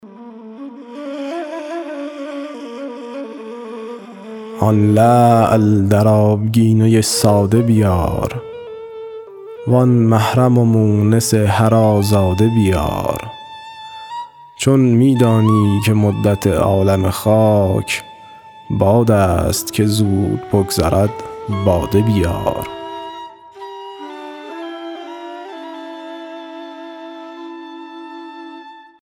آن لعل در آبگینه ساده بیار وآن محرم و مونس هر آزاده بیار چون می دانی که مدت عالم خاک باد است که زود بگذرد باده بیار